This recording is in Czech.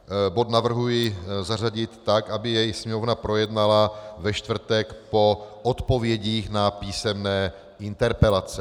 Bod navrhuji zařadit tak, aby jej Sněmovna projednala ve čtvrtek po odpovědích na písemné interpelace.